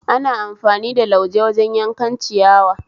Ana amfani da lauje wajen yankan ciyawa